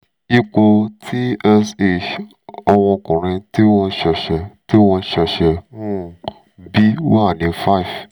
ipò tsh ọmọkùnrin tí mo ṣẹ̀ṣẹ̀ tí mo ṣẹ̀ṣẹ̀ um bí wà ní six